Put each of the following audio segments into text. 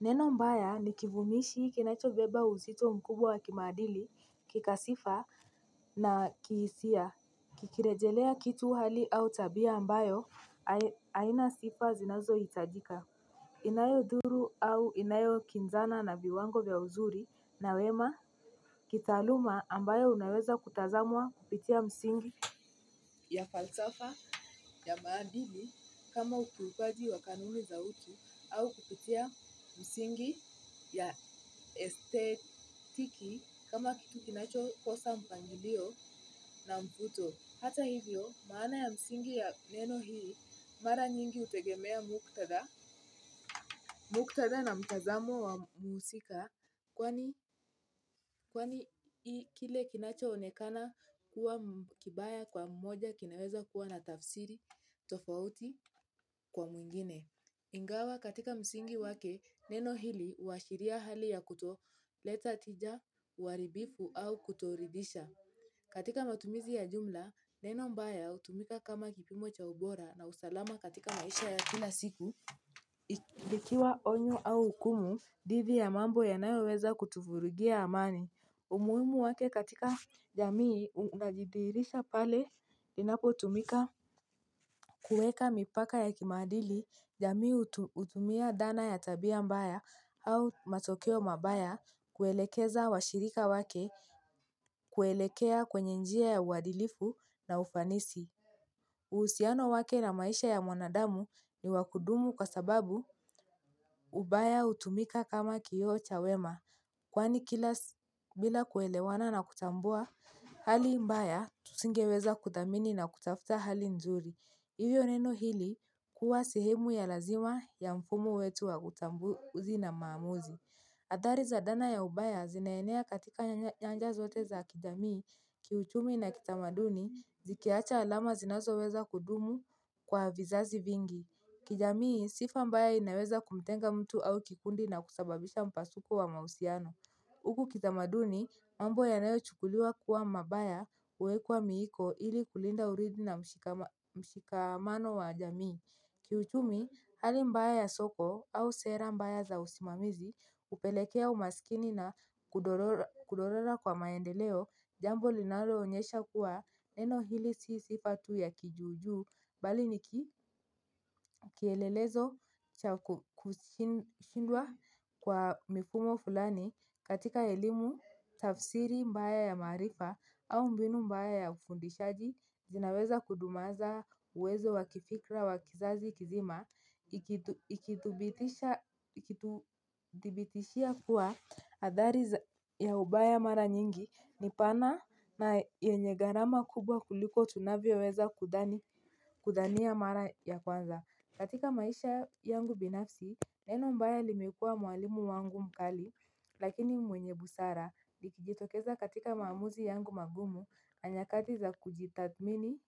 Neno mbaya ni kivumishi kinacho beba uzito mkubwa kimaadili kikasifa na kihisia kiki rejelea kitu hali au tabia ambayo aina sifa zinazo hitajika inayodhuru au inayo kinzana na viwango vya uzuri na wema. Kitaaluma ambayo unaweza kutazamwa kupitia msingi. Ya falsafa ya maadili kama ukulupaji wa kanuni za utu au kupitia msingi ya estetiki kama kitu kinacho kosa mpangilio na mvuto. Hata hivyo maana ya msingi ya neno hii mara nyingi hutegemea muktadha. Muktadha na mtazamo wa muusika kwani, kwani kile kinacho onekana kuwa kibaya kwa mmoja kinaweza kuwa na tafsiri tofauti kwa mwingine. Ingawa katika msingi wake neno hili huashiria hali ya kuto leta tija uharibifu au kuto ridisha. Katika matumizi ya jumla neno mbaya hutumika kama kipimo cha ubora na usalama katika maisha ya kila siku. Likikiwa onyo au hukumu. Dhidi ya mambo yanayo weza kutuvurugia amani. Umuhimu wake katika jamii unajidihirisha pale inapo tumika kuweka mipaka ya kimadili. Jamii hutumia dhana ya tabia mbaya au matokeo mabaya kuelekeza washirika wake kuelekea kwenye njia ya uwadilifu na ufanisi. Uhusiano wake na maisha ya mwanadamu. Ni wakudumu kwa sababu ubaya hutumika kama kioo cha wema. Kwani kila bila kuelewana na kutambua hali mbaya singeweza kudhamini na kutafuta hali nzuri hivyo neno hili huwa sehemu ya lazima ya mfumo wetu wa utambuzi na maamuzi. Athari za dana ya ubaya zinaenea katika nyanja zote za kijamii ki uchumi na kitamaduni zikiacha alama zinazoweza kudumu kwa vizazi vingi kijanii sifa ambayo inaweza kumtenga mtu au kikundi na kusababisha mpasuko wa mahusiano. Hukukitamaduni mambo yanayo chukuliwa kuwa mabaya huwekwa miiko ili kulinda uridhi na mshikamano wa jamii. Kiuchumi hali mbaya ya soko au sera mbaya za usimamizi hupelekea umaskini na kudorora kudorora kwa maendeleo. Jambo linalo onyesha kuwa neno hili si sifa tu ya kijujuu bali ni kielelezo cha kushindwa kwa mifumo fulani. Katika elimu, tafsiri, mbaya ya marifa au mbinu mbaya ya ufundishaji. Zinaweza kudumaza uwezo wakifikra wakizazi kizima. Ikituthibitishia kuwa adhari ya ubaya mara nyingi. Nipana na yenye garama kubwa kuliko tunavyo weza kudhani kudhania mara ya kwanza. Katika maisha yangu binafsi. Neno mbaya limekua mwalimu wangu mkali lakini mwenye busara likijitokeza katika maamuzi yangu magumu na nyakati za kujitathmini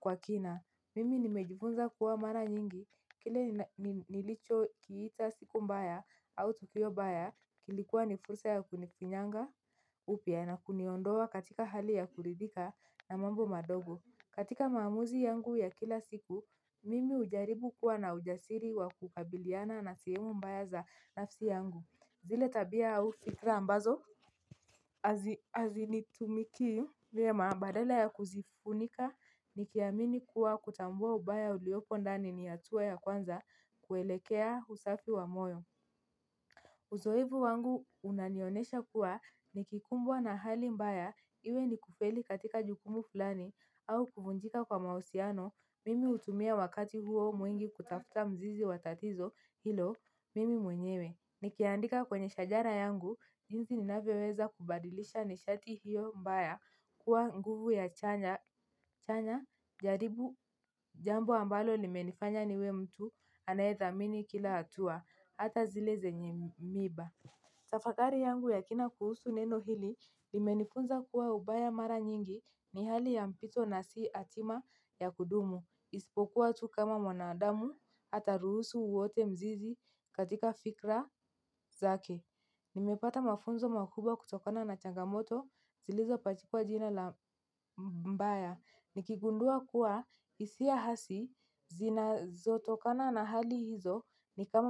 kwa kina. Mimi nimejifunza kuwa mara nyingi kile nilicho kiita siku mbaya au tukio mbaya. Kilikuwa ni fursa ya kunifinyanga upya na kuniondoa katika hali ya kuridhika na mambo madogo. Katika maamuzi yangu ya kila siku, mimi hujaribu kuwa na ujasiri wa kukabiliana na sehemu mbaya za nafsi yangu. Zile tabia au fikra ambazo hazinitumikii ma badala ya kuzifunika ni kiamini kuwa kutambua ubaya uliopo ndani ni hatua ya kwanza kuelekea usafi wa moyo. Uzoevu wangu unanionesha kuwa ni kikumbwa na hali mbaya iwe ni kufeli katika jukumu fulani au kuvunjika kwa mahusiano, mimi hutumia wakati huo mwingi kutafuta mzizi watatizo hilo mimi mwenyewe. Nikiandika kwenye shajara yangu, jinsi ninavyo weza kubadilisha nishati hiyo mbaya kuwa nguvu ya chanya jaribu jambo ambalo limenifanya niwe mtu anayethamini kila hatua, hata zile zenye miba. Tafakari yangu ya kina kuhusu neno hili, limenifunza kuwa ubaya mara nyingi ni hali ya mpito na si hatima ya kudumu. Isipokuwa tu kama mwanadamu, hata ruhusu uote mzizi katika fikra zake. Nimepata mafunzo makubwa kutokana na changamoto, zilizo pachipwa jina la mbaya. Nikigundua kuwa hisia hasi, zinazo tokana na hali hizo ni kama mbaya.